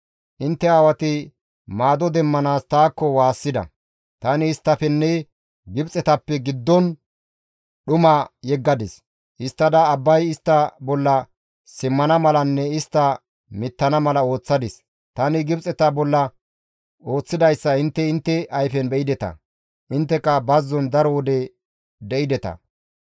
Intte aawati maado demmanaas taakko waassida; tani isttafenne Gibxetappe giddon dhuma yeggadis; histtada abbay istta bolla simmana malanne istta mittana mala ooththadis. Tani Gibxeta bolla ooththidayssa intte intte ayfen be7ideta. Intteka bazzon daro wode de7ideta.